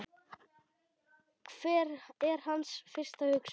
Hver er hans fyrsta hugsun?